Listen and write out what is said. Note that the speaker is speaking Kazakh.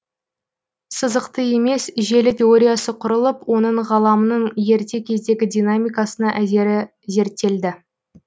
сызықты емес желі теориясы құрылып оның ғаламның ерте кездегі динамикасына әсері зерттелді